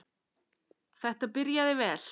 Þetta byrjaði vel.